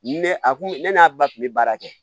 Ne a kun ne n'a ba tun bɛ baara kɛ